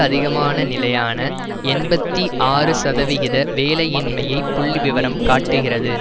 அதிகமான நிலையான எண்பத்தி ஆறு சதவிகித வேலையின்மையைப் புள்ளி விவரம் காட்டுகிறது